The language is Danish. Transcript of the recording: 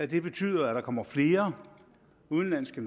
det betyder at der kommer flere udenlandske